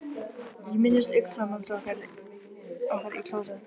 Ég minnist augnsambands okkar í klósett